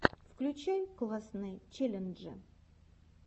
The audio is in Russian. включай классные челленджи